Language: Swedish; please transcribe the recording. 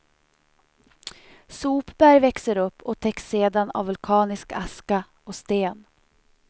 Sopberg växer upp och täcks sedan av vulkanisk aska och sten.